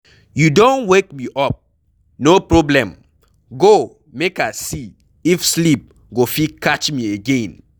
You don wake me up, no problem. Go, make I see if sleep go fit catch me again.